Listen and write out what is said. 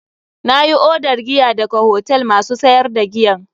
Na yi odar giya daga hotel masu sayar da giyan.